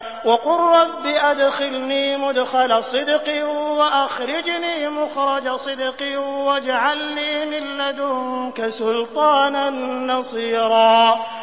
وَقُل رَّبِّ أَدْخِلْنِي مُدْخَلَ صِدْقٍ وَأَخْرِجْنِي مُخْرَجَ صِدْقٍ وَاجْعَل لِّي مِن لَّدُنكَ سُلْطَانًا نَّصِيرًا